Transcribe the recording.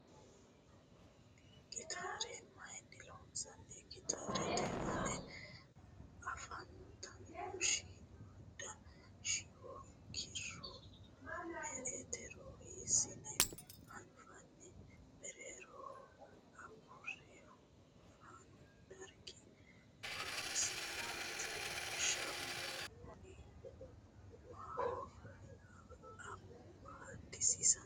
Gitaare mayiinni loonsanni? Gitaarete aana afantanno shiimmada shiwo kiiro me"etero hiissine anfanni? Mereeroho agurrihu fanu dargi horosi maati? Shiwono maaho amadisiinsoyi?